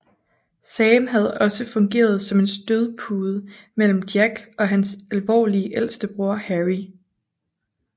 Sam havde også fungeret som en stødpude mellem Jack og hans alvorlige ældste bror Harry